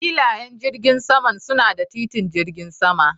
Filayen jirgin saman suna da titin jirgin sama